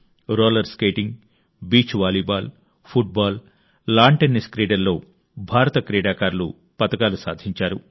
roller skating beach volleyball football lawn tennis క్రీడల్లో భారత క్రీడాకారులు పతకాలు సాధించారు